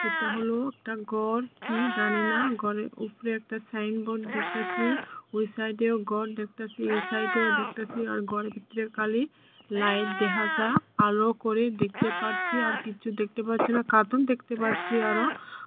এটা হলো একটা গর কি জানি না গরের উপরে একটা সাইনবোর্ড দেখতাছি ওই সাইডে ও গর দেখতাছি এই সাইডে ও দেখতাছি আর গরের ভিতরে খালি লাইট দেহা যায় আলো করে দেখতে পারছি আর কিছু দেখতে পারছি না কার্টন দেখতে পারছি আরো।